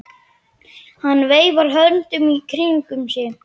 Hann veifar höndunum í kringum sig.